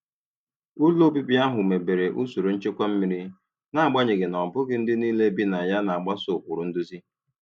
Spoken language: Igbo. Ụlọ obibi ahụ mebere usoro nchekwa mmiri, n'agbanyeghị na ọ bụghị ndị niile bi na ya na-agbaso ụkpụrụ nduzi.